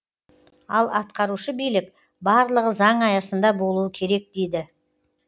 ал атқарушы билік барлығы заң аясында болуы керек дейді